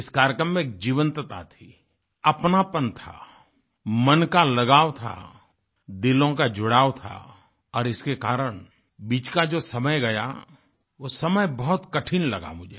इस कार्यक्रम में जीवन्तता थी अपनापन था मन का लगाव था दिलों का जुड़ाव था और इसके कारण बीच का जो समय गया वो समय बहुत कठिन लगा मुझे